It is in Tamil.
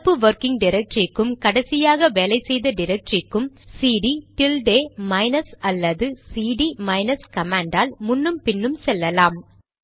நடப்பு வொர்கிங் டிரக்டரிக்கும் கடைசியாக வேலை செய்த டிரக்டரிக்கும் சிடி டில்டே மைனஸ் அல்லது சிடி மைனஸ் கமாண்ட் ஆல் முன்னும் பின்னும் செல்லலாம்